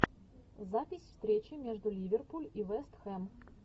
запись встречи между ливерпуль и вестхэм